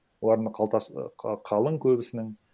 олардың қалтасы і қалың көбісінің